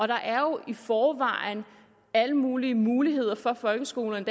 der er jo i forvejen alle mulige muligheder for folkeskolerne